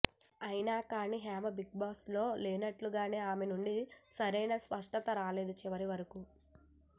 అయినా కానీ Hema Bigg Boss లో లేనట్లుగానే ఆమె నుండి సరైన స్పష్టత రాలేదు చివరివరకు